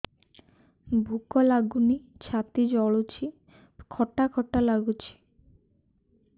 ଭୁକ ଲାଗୁନି ଛାତି ଜଳୁଛି ଖଟା ଖଟା ଲାଗୁଛି